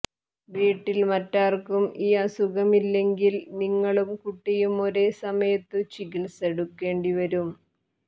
വീട്ടിൽ മറ്റാർക്കും ഈ അസുഖം ഇല്ലെങ്കിൽ നിങ്ങളും കുട്ടിയും ഒരേ സമയത്തു ചികിത്സ എടുക്കേണ്ടി വരും